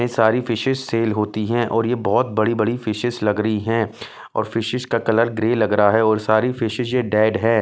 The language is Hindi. ये सारी फिशेस सेल होती हैं और ये बहुत बड़ी-बड़ी फिशेस लग रही हैं और फिशेस का कलर ग्रे लग रहा है और सारी फिशेस ये डेड है।